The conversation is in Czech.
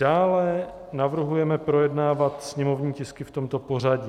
Dále navrhujeme projednávat sněmovní tisky v tomto pořadí.